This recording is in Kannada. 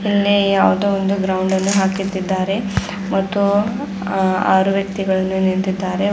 ಇಲ್ಲಿ ಯಾವ್ದೋ ಒಂದು ಗ್ರೌಂಡ್ ಅನ್ನು ಹಾಕಿತ್ತಿದ್ದಾರೆ ಮತ್ತು ಆ ಆರು ವ್ಯಕ್ತಿಗಳನ್ನು ನಿಂತಿದ್ದಾರೆ.